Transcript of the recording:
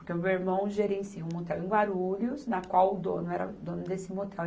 Porque o meu irmão gerencia um motel em Guarulhos, na qual o dono era dono desse motel.